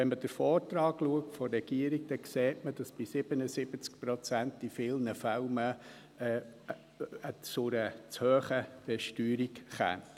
Wenn man den Vorschlag des Regierungsrates anschaut, dann sieht man, dass diese 77 Prozent in vielen Fällen zu einer zu hohen Besteuerung führen.